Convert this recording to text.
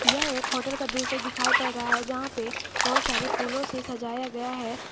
यह एक होटल का दृश्य दिखाई पड़ रहा है जहां पे बहुत सारे फूलों से सजाया गया है।